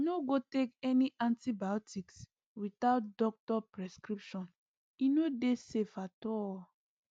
no go take any antibiotics without doctor prescription e no dey safe at all